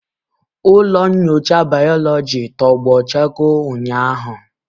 Ụlọ nyocha bayoloji tọgbọ chakoo ụnyahụ.